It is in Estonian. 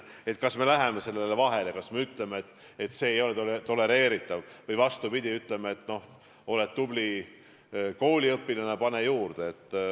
On oluline, kas nad lähevad vahele ja ütlevad, et see pole tolereeritav, või vastupidi, ütlevad, et oled tubli, pane juurde.